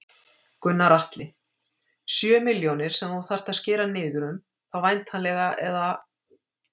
Gunnar Atli: Sjö milljónir sem þú þarft að skera niður um þá væntanlega eða?